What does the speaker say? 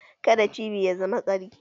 Ka da cibi ya zama ƙari